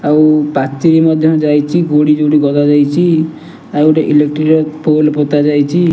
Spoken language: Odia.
ଆଉ ପାଚେରୀ ମଧ୍ୟ ଯାଇଚି ଗୋଡ଼ି ଯୋଉଠି ଗଦା ଯାଇଚି ଆଉ ଗୋଟେ ଇଲେକ୍ଟ୍ରି ପୋଲ୍ ପୋତାଯାଇଚି।